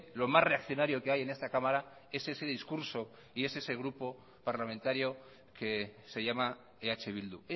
lo más reaccionario que hay en esta cámara es ese discurso y es ese grupo parlamentario que se llama eh bildu